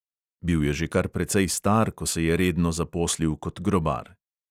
Bil je že kar precej star, ko se je redno zaposlil kot grobar.